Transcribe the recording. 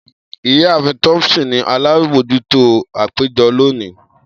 Iyaafin Thompson ni alabojuto apejọ loni.